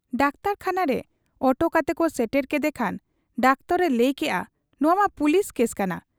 ᱰᱟᱠᱴᱚᱨᱠᱷᱟᱱᱟᱨᱮ auto ᱠᱟᱛᱮᱠᱚ ᱥᱮᱴᱮᱨ ᱠᱮᱫᱮ ᱠᱷᱟᱱ ᱰᱟᱠᱛᱚᱨᱠᱚ ᱞᱟᱹᱭ ᱠᱮᱜ ᱟ ᱱᱚᱶᱟ ᱢᱟ ᱯᱩᱞᱤᱥ ᱠᱮᱥ ᱠᱟᱱᱟ ᱾